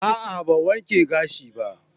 A'a, ban wanke gashin ba